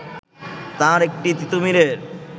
তার একটি তিতুমীরের